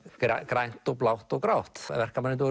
grænt og blátt og grátt verkamennirnir